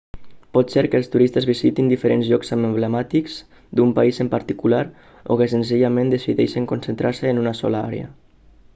pot ser que els turistes visitin diferents llocs emblemàtics d'un país en particular o que senzillament decideixin concentrar-se en una sola àrea